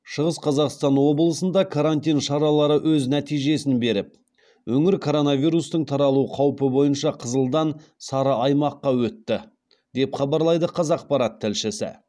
шығыс қазақстан облысында карантин шаралары өз нәтижесін беріп өңір коронавирустың таралу қаупі бойынша қызылдан сары аймаққа өтті деп хабарлайды қазақпарат тілшісі